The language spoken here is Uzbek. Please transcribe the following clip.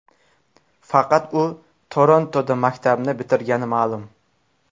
Faqat u Torontoda maktabni bitirgani ma’lum.